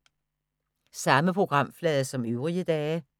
Samme programflade som øvrige dage